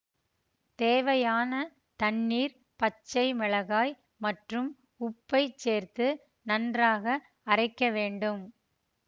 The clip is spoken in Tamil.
தேவையான் தண்ணீர் பச்சை மிளகாய் மற்றும் உப்பைச் சேர்த்து நன்றாக அறைக்க வேண்டும்